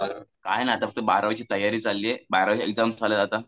काय नाही फक्त बारावीची तयारी चालली आहे बारावीचे एक्झाम्स आहेत आता